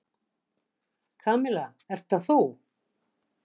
Kamilla, ert þetta þú?